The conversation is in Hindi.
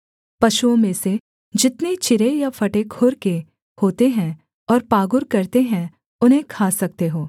पशुओं में से जितने चिरे या फटे खुर के होते हैं और पागुर करते हैं उन्हें खा सकते हो